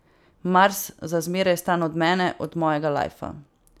Mars, za zmeraj stran od mene, od mojega lajfa.